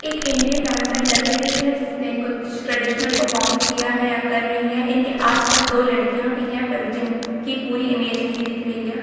एक Indian dancer लग रही हैं जिस मे कुछ ट्ट्रेडिशनल पर्फॉर्म किया हैं या कर रही हैं इनके आस पास दो लड़किया भी हैं पर जिन कि पूरी इमेज नहीं देख रही हैं।